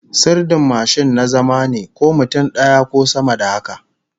Sirdin mashin na zama ne, ko mutum daya ko sama da haka